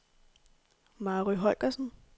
Mary Holgersen